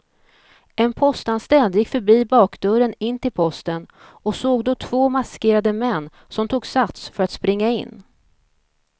En postanställd gick förbi bakdörren in till posten och såg då två maskerade män som tog sats för att springa in.